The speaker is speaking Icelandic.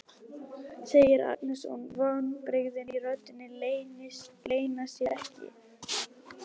segir Agnes og vonbrigðin í röddinni leyna sér ekki.